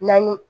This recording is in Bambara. Naani